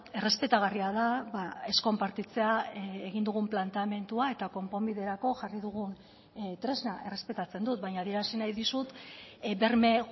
errespetagarria da ez konpartitzea egin dugun planteamendua eta konponbiderako jarri dugun tresna errespetatzen dut baina adierazi nahi dizut berme